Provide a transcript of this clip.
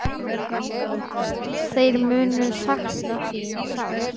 Þeir munu sakna þín sárt.